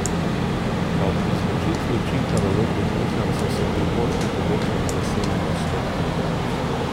Ob izločitvi učinka valutnih nihanj so se prihodki povečali za sedem odstotkov.